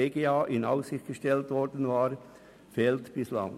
DGA in Aussicht gestellt worden war, fehlt bislang.